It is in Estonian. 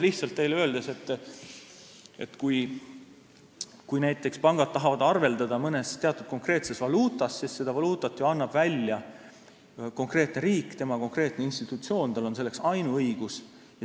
Lihtsalt teile veel kord öeldes, kui näiteks pangad tahavad arveldada mõnes teatud konkreetses valuutas, siis seda valuutat annab välja ju konkreetne riik, tema konkreetne institutsioon, tal on selleks ainuõigus.